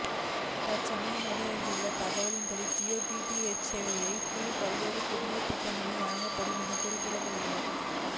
தற்சமயம் வெளியாகியுள்ள தகவல்களின் படி ஜியோ டிடிஎச் சேவைகளின் கீழ் பல்வேறு புதிய திட்டங்கள் வழங்கப்படும் என கூறப்படுகிறது